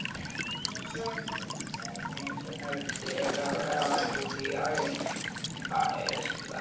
Tölvan suðar meðan fingurnir pikka vélrænt, úti hægist veðrið.